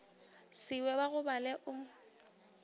se we ba gobale o